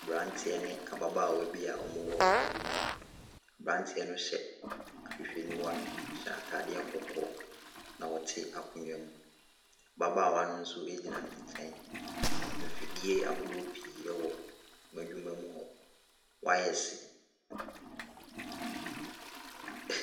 Aberanteɛ ne ababaawa bi a wɔwɔ adwuma mu. Aberanteɛ no hyɛ ahwehwɛniwa. Ɔhyɛ atadeɛ kɔkɔɔ, na ɔte akonnwa mu. Ababaawa no nso gyina ne nkyɛn. Mfidie ahosoɔ pii wɔ wɔn adwumamu hɔ. Wires .